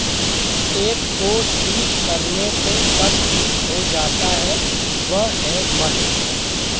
एक को ठीक करने से सब ठीक हो जाता है वह है मन